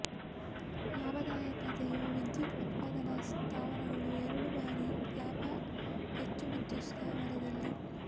ಲಾಭದಾಯಕತೆಯು ವಿದ್ಯುತ್ ಉತ್ಪಾದನಾ ಸ್ಥಾವರಗಳು ಎರಡು ಬಾರಿ ಲಾಭ ಹೆಚ್ಚು ವಿದ್ಯುತ್ ಸ್ಥಾವರದಲ್ಲಿ